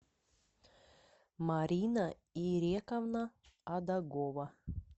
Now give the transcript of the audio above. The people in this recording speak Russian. марина ирековна адагова